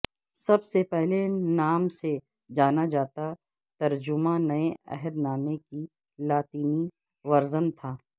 سب سے پہلے نام سے جانا جاتا ترجمہ نئے عہد نامے کی لاطینی ورژن تھا